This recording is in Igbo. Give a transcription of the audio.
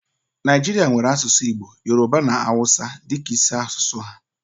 Naijirịa nwèrè asụsụ Igbo, Yoroba na Awụsa dịka isi asụsụ ha